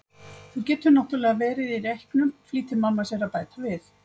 Þú getur náttúrlega verið í reyknum, flýtir mamma sér að bæta við.